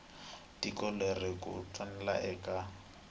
tiko leri ku twananiweke eka